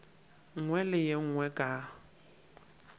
nngwe le ye nngwe ka